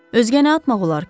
Özgə nə atmaq olar ki?